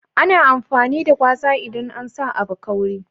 Ana amfani da gwaza, idan a sa abu kauri.